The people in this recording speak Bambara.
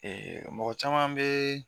Ee mɔgɔ caman bɛ